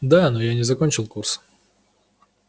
да но я не закончил курс